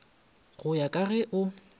go ya ka ge o